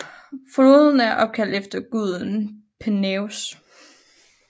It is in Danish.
Floden er opkaldt efter guden Peneus